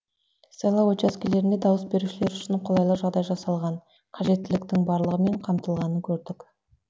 сайлау учаскелерінде дауыс берушілер үшін қолайлы жағдай жасалған қажеттіліктің барлығымен қамтылғанын көрдік